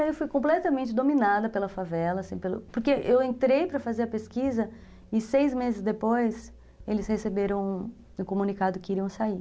Eu fui completamente dominada pela favela, assim, porque eu entrei para fazer a pesquisa e seis meses depois eles receberam o comunicado que iriam sair.